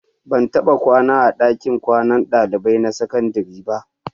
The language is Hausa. Ban taɓa kwana a ɗakin kwanan ɗalibai na sakandare ba.